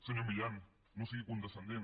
senyor milián no sigui condescendent